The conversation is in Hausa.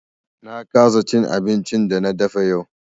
Na kasa cin abincin da na dafa yau.